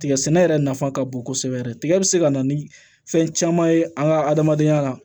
Tigɛ sɛnɛ yɛrɛ nafa ka bon kosɛbɛ yɛrɛ tigɛ bɛ se ka na ni fɛn caman ye an ka adamadenya la